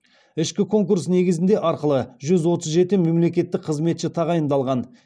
ішкі конкурс негізінде арқылы жүз отыз жеті мемлекеттік қызметші тағайындалған